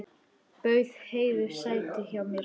Bauð Heiðu sæti hjá mér.